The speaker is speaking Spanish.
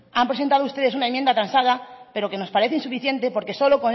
han presentado ustedes una enmienda transada pero que nos parece insuficiente porque solo